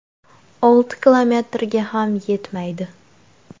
Olti kilometrga ham yetmaydi.